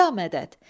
Ya mədəd!